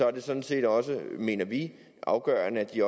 er det sådan set også mener vi afgørende at de